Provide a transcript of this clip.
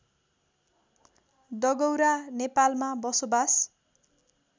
डगौरा नेपालमा बसोबास